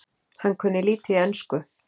Hann kunni lítið í ensku.